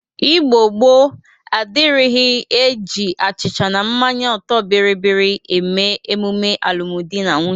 Igbo gboo adịrighi e ji achịcha na mmanye ọtọ bịrịbịrị eme emume alụmdị na nwunye.